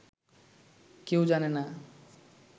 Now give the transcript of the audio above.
কেউ জানে না